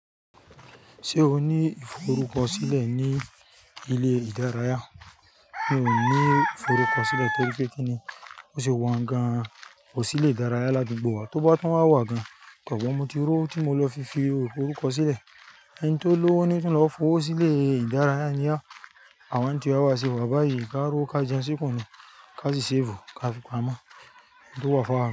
Ṣé o ní ìforúkọ sílẹ̀ ní ilé ìdárayá? Mi ò ní ìforúkọ sílẹ̀ torí pé kíni, bó ṣe wà gan kò sí ilé ìdárayá ládugbó wa. Tó bá tun wá wá gan, mo tí r'òwo mo lọ fi fi orúkọ sílẹ̀. Ẹni tó lówó ni ó ti lọ fowó sí ilé ìdárayá àwọn tíwà ba se wà báyìí ká r'òwo ká jẹun sí kun ni ká sì safe ká fi pamọ́, òun tó wá fún awa.